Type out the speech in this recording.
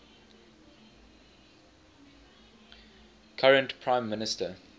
current prime minister